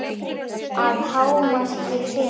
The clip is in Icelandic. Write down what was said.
Að hámarki fimm.